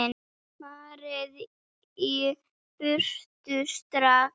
FARIÐ Í BURTU STRAX!